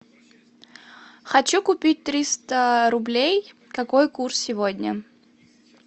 хочу купить триста рублей какой курс сегодня